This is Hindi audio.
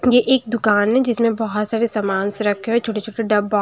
ये एक दुकान है जिसमें बहुत सारे सामानस रखे हुए छोटे-छोटे डब्बा --